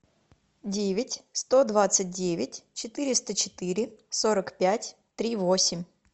девять сто двадцать девять четыреста четыре сорок пять три восемь